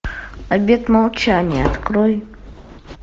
обед молчания открой